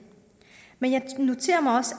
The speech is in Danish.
men jeg noterer mig også